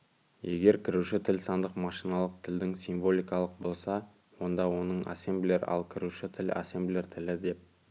егер кіруші тіл сандық машиналық тілдің символикалық болса онда оны ассемблер ал кіруші тіл ассемблер тілі деп